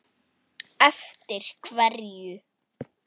Eftir hverju?